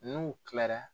N'u kilara